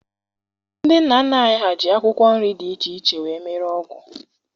Ndị nna nna anyị ji akwụkwọ nri dị iche iche were mee ọgwụ